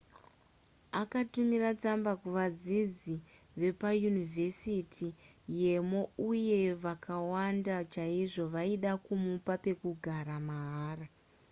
akatumira tsamba kuvadzidzi vepayunivhesiti yemo uye vakawanda chaizvo vaida kumupa pekugara mahara